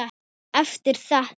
Eftir þetta.